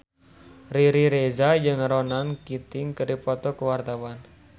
Riri Reza jeung Ronan Keating keur dipoto ku wartawan